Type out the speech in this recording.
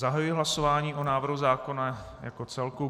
Zahajuji hlasování o návrhu zákona jako celku.